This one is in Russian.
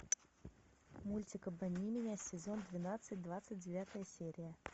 мультик обмани меня сезон двенадцать двадцать девятая серия